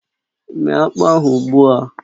Méé akpụ ahụ ugbu a!